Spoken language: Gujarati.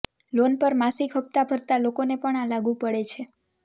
લોન પર માસિક હપ્તા ભરતા લોકોને પણ આ લાગુ પડે છે